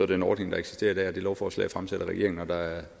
den ordning der eksisterer i dag og det lovforslag er fremsat af regeringen og der er